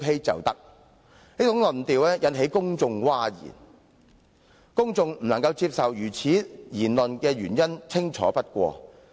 這種論調引起公眾譁然，公眾無法接受這種言論的原因清楚不過。